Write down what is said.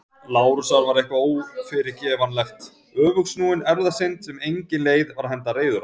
Lárusar var eitthvað ófyrirgefanlegt- öfugsnúin erfðasynd sem engin leið var að henda reiður á.